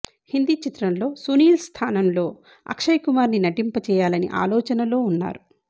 హిందీ చిత్రం లో సునీల్ స్థానం లో అక్షయ్ కుమార్ ని నటింపజేయాలని ఆలోచనలో ఉన్నారు